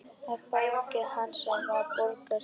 Að baki hans var borg risin.